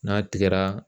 N'a tigɛra